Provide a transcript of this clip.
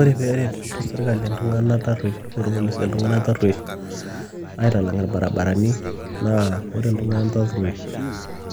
Ore pee eret serikali iltung'anak tarruoish, irpolisi iltung'anak tarruoish aitalang' irbarabarani, naa kore iltung'anak tarruoish